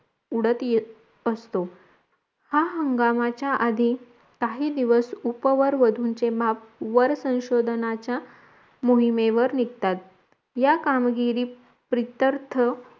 उडत येत असतो हा हंगामाचा आदी काही दिवस उपवर वधूंचे माप वर संशोधनाच्या मोहिमेवर निगतात या कामगिरी प्रित्यर्थ